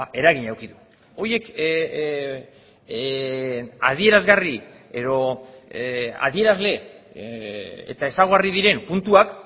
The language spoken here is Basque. eragina eduki du horiek adierazgarri edo adierazle eta ezaugarri diren puntuak